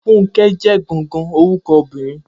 Funke jẹ gangan orukọ obinrin.